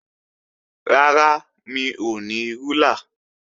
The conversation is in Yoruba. Rárá, mi ò ní rúlà